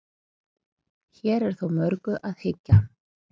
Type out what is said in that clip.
hér er þó að mörgu að hyggja